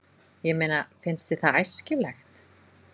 Ég meina, finnst þér það æskilegt?